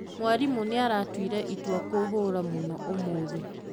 Mwarimũ nĩaratuire itua kũhũra mũno ũmũthĩ